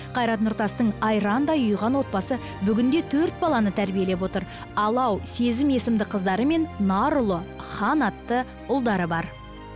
қайрат нұртастың айрандай ұйыған отбасы бүгінде төрт баланы тәрбиелеп отыр алау сезім есімді қыздары мен нарұлы хан атты ұлдары бар